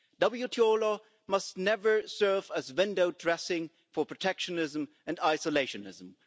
WTO law must never serve as window dressing for protectionism and isolationism.